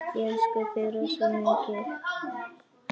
Ég elska þig rosa mikið.